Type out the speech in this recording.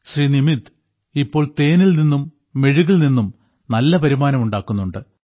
ശ്രീ നിമിത് ഇപ്പോൾ തേനിൽ നിന്നും മെഴുകിൽ നിന്നും നല്ല വരുമാനം ഉണ്ടാക്കുന്നുണ്ട്